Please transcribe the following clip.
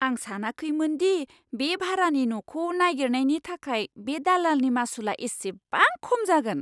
आं सानाखैमोन दि बे भारानि न'खौ नागिरनायनि थाखाय बे दालालनि मासुलआ इसेबां खम जागोन!